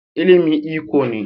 ilimi iko ne